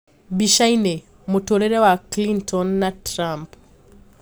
Bica-ini: Mũtũrire wa Clinton na Trump